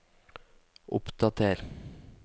oppdater